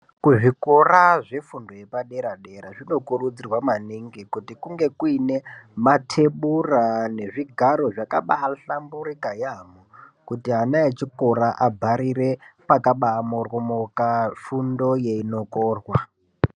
Kuzvikora zvefundo yepaderadera zvinokurudzirwa maningi kuti kunge kuine mathebhura nezvigaro zvakabaahlamburika yaampho kuti ana echikora agarire pakabamoryomoka fundo yeinokorwa.